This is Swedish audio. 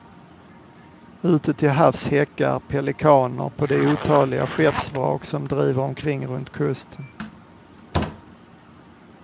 Ute till havs häckar pelikaner på de otaliga skeppsvrak som driver omkring runt kusten.